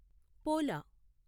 పోలా